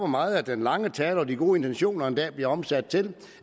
meget at den lange tale og de gode intentioner en dag bliver omsat til